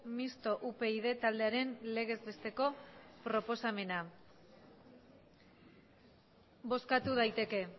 misto upyd taldearen legezbesteko proposamena bozkatu daiteke